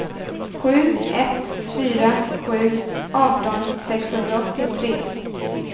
sju ett fyra sju arton sexhundraåttiotre